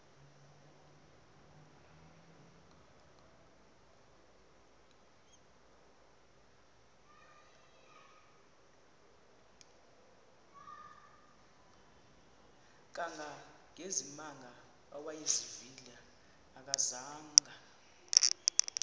kangangezimanga awayezivile akazanga